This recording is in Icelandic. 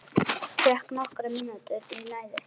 Fékk nokkrar mínútur í næði.